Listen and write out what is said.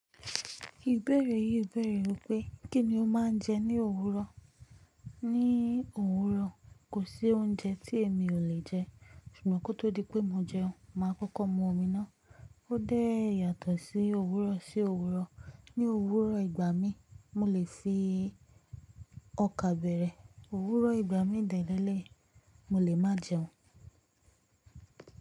Ìbéèrè yìí bẹ̀rẹ̀ wípé kíni o máa ń jẹ ní òwúrọ̀? Ní òwúrọ̀, kò sí oúnjẹ tí èmi ò lè jẹ. Ṣùgbọ́n kó tó di pé mo jẹun, màá kọ́kọ́ mu omi ná. Ó dẹ́ yàtọ̀ sí òwúrọ̀ sí òwúrọ̀. Ni owúrọ̀ ìgbà mi, mo lè fi ọkà bẹ̀rẹ̀. Òwúrọ̀ ìgbà mi dẹ̀ leléyìí, mo lè má jẹun.